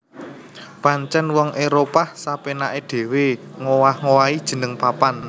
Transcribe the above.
Pancèn wong Éropah sapénaké dhéwé ngowah owahi jeneng papan